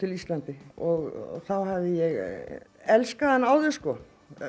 Íslandi og þá hafði ég elskað hann áður sko